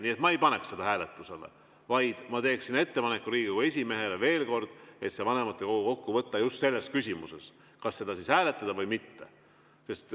Nii et ma ei paneks seda hääletusele, vaid ma teeksin Riigikogu esimehele veel kord ettepaneku vanematekogu kokku kutsuda just selles küsimuses, kas seda hääletada või mitte.